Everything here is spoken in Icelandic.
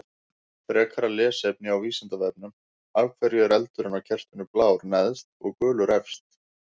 Frekara lesefni á Vísindavefnum: Af hverju er eldurinn á kertinu blár neðst og gulur efst?